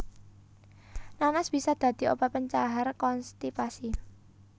Nanas bisa dadi obat pencahar konstipasi